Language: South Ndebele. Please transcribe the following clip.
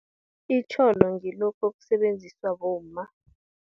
Itjholo, ngilokhu okusebenziswa bomma.